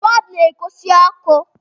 bọọbụ na-agosi ọkụ